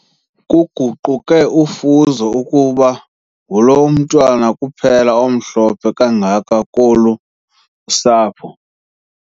Kuguquke ufuzo kuba ngulo mntwana kuphela omhlophe kangaka kolu sapho.